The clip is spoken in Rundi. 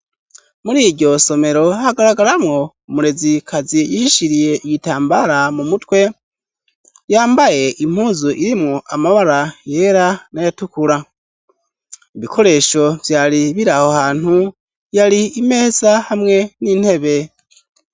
Muri iryo somero hagaragaramwo umurezi kazi yishishiriye iyitambara mu mutwe yambaye impuzu irimwo amabara yera n'ayatukura ibikoresho vyari biri aho hantu yari imeza hamwe n'intebe.